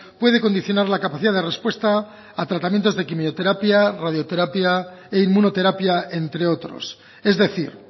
puede condicionar la capacidad de respuesta a tratamientos de quimioterapia radioterapia e inmunoterapia entre otros es decir